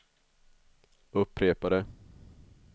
upprepade